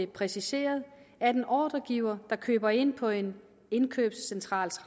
præciseret at en ordregiver der køber ind på en indkøbscentral